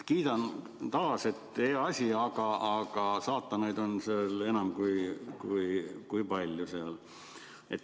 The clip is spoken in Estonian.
Kiidan taas, et hea asi, aga saatanaid on seal enam kui palju.